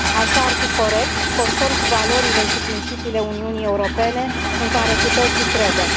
Așa ar fi corect și conform cu valorile și principiile Uniunii Europene în care cu toții credem.